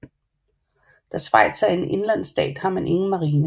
Da Schweiz er en indlandsstat har man ingen marine